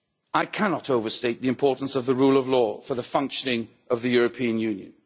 I cannot overstate the importance of the rule of law for the functioning of the European Union.